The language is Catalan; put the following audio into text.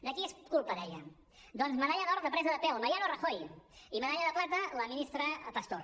de qui és culpa deia doncs medalla d’or de presa de pèl mariano rajoy i medalla de plata la ministra pastor